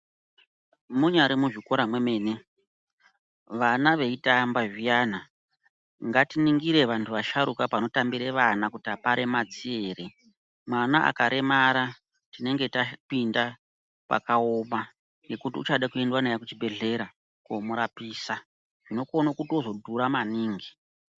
Munyari muzvikora mwemene vana veitamba zviyana ngatiningire vanhu vasharuka panotambire vana kuti aparemadzi ere mwana akaremara tinenge tapinda pakaoma nekuti uchade kuenda naye kuchibhehleya koomurapisa zvinokone kuzotodhura maningi.